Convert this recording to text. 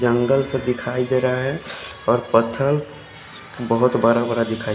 जंगल सब दिखाई दे रहा है और पत्थर बहोत बड़ा बड़ा दिखाई--